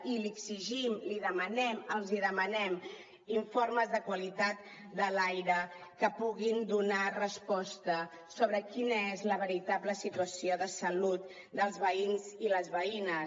i li exigim li demanem els demanem informes de qualitat de l’aire que puguin donar resposta sobre quina és la veritable situació de salut dels veïns i les veïnes